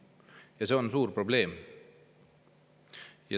Ja see on suur probleem.